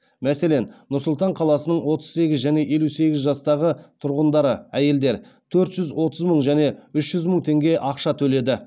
мәселен нұр сұлтан қаласының отыз сегіз және елу екі жастағы тұрғындары төрт жүз отыз мың және үш жүз мың теңге ақша төледі